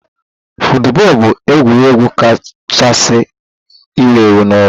Football bụ egwuregwu kachasị ewu ewu n'ụwa.